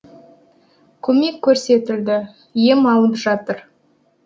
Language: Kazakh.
көмек көрсетілді ем алып жатыр